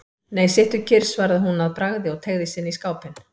Nei, sittu kyrr, svaraði hún að bragði og teygði sig inn í skápinn.